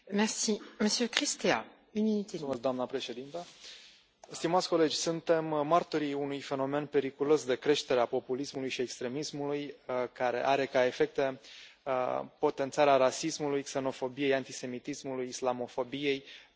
Doamnă președintă, stimați colegi, suntem martorii unui fenomen periculos de creștere a populismului și extremismului, care are ca efecte potențarea rasismului, xenofobiei, antisemitismului, islamofobiei, precum și a altor forme de intoleranță.